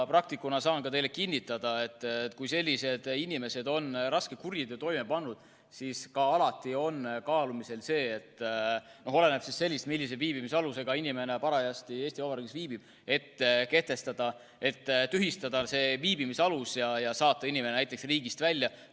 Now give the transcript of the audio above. Praktikuna saan teile kinnitada, et kui sellised inimesed on raske kuriteo toime pannud, siis on alati kaalumisel võimalus – oleneb sellest, millise viibimisalusega inimene parajasti Eesti Vabariigis viibib – tühistada tema viibimisalus ja saata ta näiteks riigist välja.